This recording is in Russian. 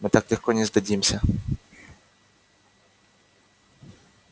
мы так легко не сдадимся